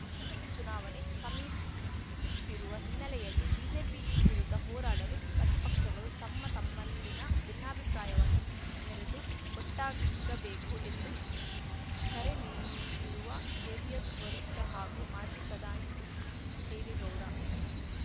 ಲೋಕಸಭೆ ಚುನಾವಣೆ ಸಮೀಪಿಸುತ್ತಿರುವ ಹಿನ್ನೆಲೆಯಲ್ಲಿ ಬಿಜೆಪಿ ವಿರುದ್ಧ ಹೋರಾಡಲು ಪ್ರತಿಪಕ್ಷಗಳು ತಮ್ಮತಮ್ಮಲ್ಲಿನ ಭಿನ್ನಾಭಿಪ್ರಾಯವನ್ನು ಮೆರೆತು ಒಗ್ಗಟ್ಟಾಗಬೇಕು ಎಂದು ಕರೆ ನೀಡಿರುವ ಜೆಡಿಎಸ್‌ ವರಿಷ್ಠ ಹಾಗೂ ಮಾಜಿ ಪ್ರಧಾನಿ ಎಚ್‌ಡಿ ದೇವೇಗೌಡ